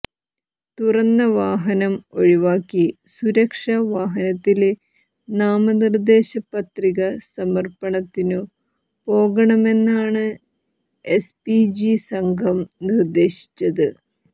തുറന്ന വാഹനം ഒഴിവാക്കി സുരക്ഷാ വാഹനത്തില് നാമനിര്ദ്ദേശ പത്രിക സമര്പ്പണത്തിനു പോകണമെന്നാണ് എസ് പി ജി സംഘം നിര്ദ്ദേശിച്ചത്